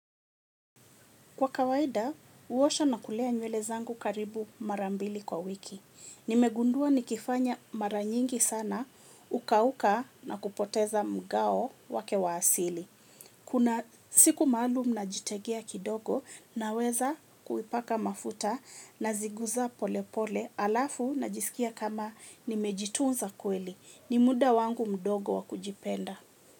Kwa kawaida, uwosha na kulea nywele zangu karibu mara mbili kwa wiki. Nimegundua nikifanya mara nyingi sana, ukauka na kupoteza mgao wake wa asili. Kuna siku maalum najitegea kidogo naweza kuipaka mafuta naziguza pole pole alafu najisikia kama nimejitunza kweli. Ni muda wangu mdogo wa kujipenda.